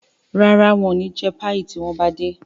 ràrá wón ní jé Páyi tí wón bá dé.